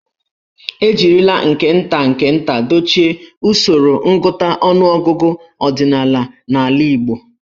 E jirila nke nta nke nta dochie usoro ngụta ọnụọgụgụ ọdịnala n'ala Igbo.